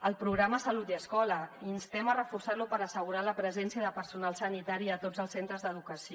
el programa salut i escola instem a reforçar lo per assegurar la presència de personal sanitari a tots els centres d’educació